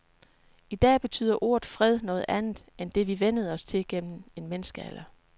I dag betyder ordet fred noget andet end det, vi vænnede os til gennem en menneskealder.